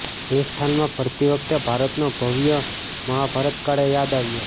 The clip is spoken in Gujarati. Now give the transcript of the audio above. એ સ્થાનમાં ફરતી વખતે ભારતનો ભવ્ય મહાભારતકાળ યાદ આવ્યો